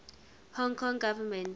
hong kong government